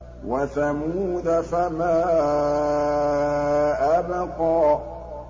وَثَمُودَ فَمَا أَبْقَىٰ